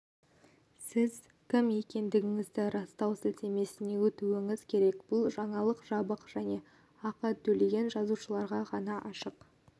сіз кім екендігіңізді растау сілтемесіне өтуіңіз керек бұл жаңалық жабық және ақы төлеген жазылушыларға ғана ашық